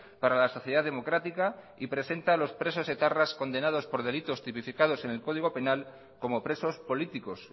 para la sociedad democrática y presenta a los presos etarras condenados por delitos tipificados en el código penal como presos políticos